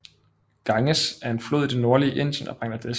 Ganges er en flod i det nordlige Indien og Bangladesh